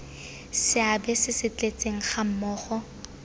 seabe se se tletseng gammogo